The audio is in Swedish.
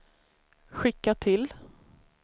skicka till